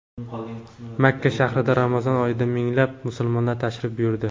Makka shahriga Ramazon oyida minglab musulmonlar tashrif buyurdi .